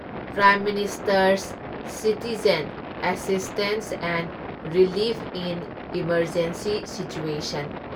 prime minister's citizen assistance and relief in emergency situation